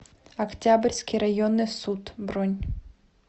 октябрьский районный суд бронь